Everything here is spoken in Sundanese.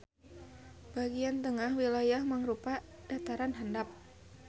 Bagian tengah wilayahna mangrupa dataran handap.